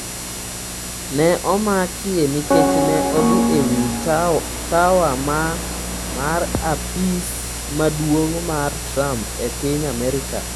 Ne omakie nikech ne odhi e wi tower mar apis maduong’ mar Trump e piny Amerka